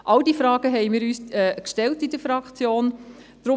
All diese Fragen haben wir uns in der Fraktion gestellt.